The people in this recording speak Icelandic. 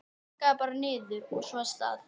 Pakkaðu bara niður, og svo af stað!